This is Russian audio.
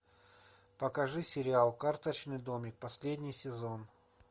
покажи сериал карточный домик последний сезон